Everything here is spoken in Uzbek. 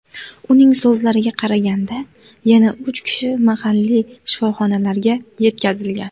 Uning so‘zlariga qaraganda, yana uch kishi mahalliy shifoxonalarga yetkazilgan.